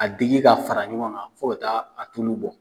A digi ka fara ɲɔgɔn kan fo ka taa a tulu bɔ